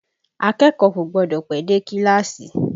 Akẹ́kọ̀ọ́ kò gbọ́dọ̀ pẹ́ dé kíláàsì!